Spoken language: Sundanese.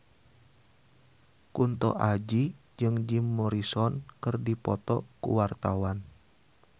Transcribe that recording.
Kunto Aji jeung Jim Morrison keur dipoto ku wartawan